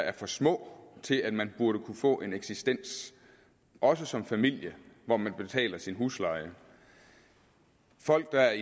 er for små til at man burde kunne få en eksistens også som familie hvor man betaler sin husleje folk der